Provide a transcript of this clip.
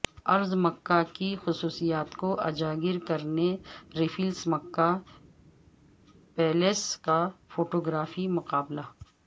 ارض مکہ کی خصوصیات کو اجاگر کرنے ریفلز مکہ پیلس کا فوٹوگرافی مقابلہ